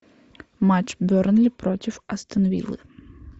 матч бернли против астон виллы